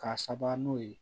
K'a saba n'o ye